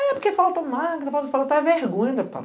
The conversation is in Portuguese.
É porque falta magra, falta vergonha, deputada.